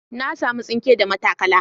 Na samu tsinke da matakala.